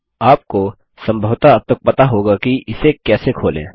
आपको सम्भवतः अब तक पता होगा कि इसे कैसे खोलें